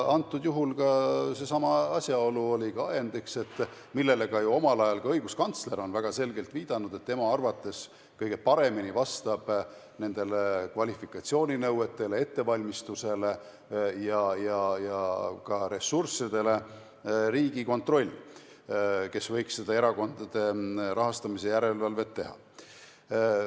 Praegusel juhul oligi ajendiks seesama asjaolu, millele on omal ajal ju ka õiguskantsler väga selgelt viidanud – tema arvates kõige paremini vastab nendele kvalifikatsiooninõuetele, ettevalmistusele ja ka ressurssidele Riigikontroll, kes võiks erakondade rahastamise järelevalvet teha.